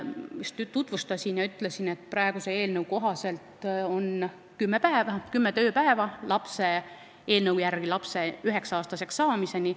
Ma just tutvustuses ütlesin, et praeguse eelnõu kohaselt on ette nähtud kümme tööpäeva lapse üheksa-aastaseks saamiseni.